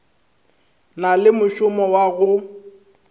na le mošomo wa go